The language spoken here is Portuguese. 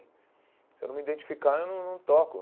Se eu não me identificar, eu não não toco.